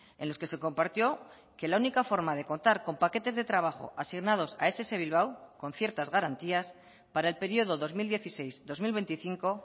en los que se compartió que la única forma de contar con paquetes de trabajo asignados a ess bilbao con ciertas garantías para el periodo dos mil dieciséis dos mil veinticinco